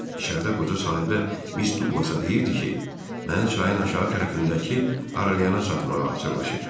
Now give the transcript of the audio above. İçəridə qoca sahibə Miss Duglasa deyirdi ki, məni çayın aşağı tərəfindəki arayanana satmağa hazırlaşır.